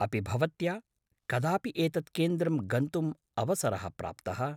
अपि भवत्या कदापि एतत् केन्द्रं गन्तुम् अवसरः प्राप्तः?